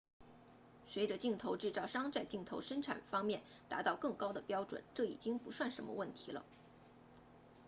随着镜头制造商在镜头生产方面达到更高的标准这已经不算什么问题了